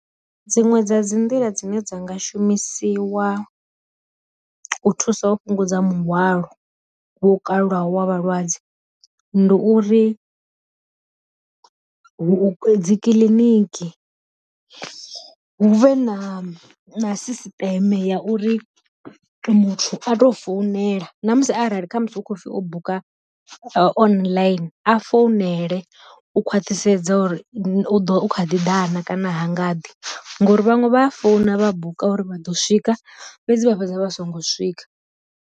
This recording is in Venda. Dziṅwe dza dzi nḓila dzine dza nga shumisiwa u thusa u fhungudza muhwalo vho kalulaho wa vhalwadze, ndi uri vhu dzi kiḽiniki hu vhe na na sisiṱeme ya uri muthu a to founela, na musi arali kha musi u khou pfi o buka online a founele u khwaṱhisedza uri u ḓo kha ḓi na kana ha nga ḓi, ngori vhanwe vha a founa vha buka uri vha ḓo swika fhedzi vha fhedza vha songo swika.